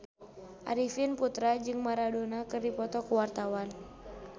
Arifin Putra jeung Maradona keur dipoto ku wartawan